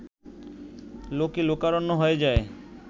লোকে লোকারণ্য হয়ে যায়